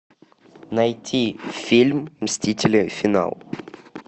найти фильм мстители финал